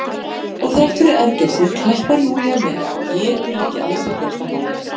Og þrátt fyrir ergelsið klappar Júlía með, getur ekki að sér gert að hlæja.